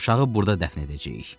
Uşağı burda dəfn edəcəyik.